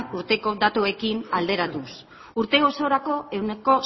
urteko datuekin alderatuz urte osorako ehuneko